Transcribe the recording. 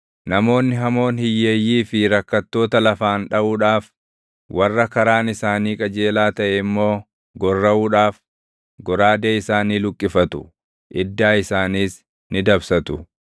Namoonni hamoon hiyyeeyyii fi rakkattoota lafaan dhaʼuudhaaf, warra karaan isaanii qajeelaa taʼe immoo gorraʼuudhaaf, goraadee isaanii luqqifatu; iddaa isaaniis ni dabsatu.